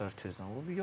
Səhər-səhər tezdən olur.